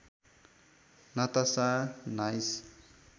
Natasha nice